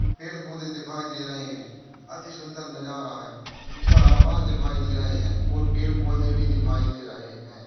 पेड़ पौधे दिखाई दे रहे है अति सुन्दर नजारा है ऊपर आकास दिखाई दे रहा है और पेड़ पौधे भी दिखाई दे रहा है।